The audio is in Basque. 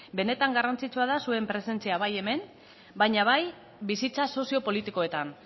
benetan garrantzitsua da zuen presentzia bai hemen baina bai bizitza sozio politikoetan